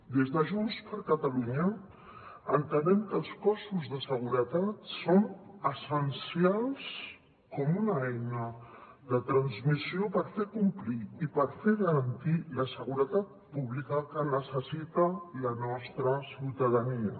des de junts per catalunya entenem que els cossos de seguretat són essencials com una eina de transmissió per fer complir i per fer garantir la seguretat pública que necessita la nostra ciutadania